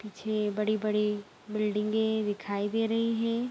पीछे बड़ी-बड़ी बिल्डिंगे दिखाई दे रहे है।